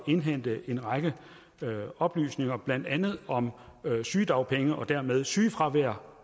indhente en række oplysninger blandt andet om sygedagpenge og dermed sygefravær